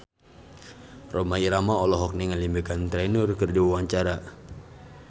Rhoma Irama olohok ningali Meghan Trainor keur diwawancara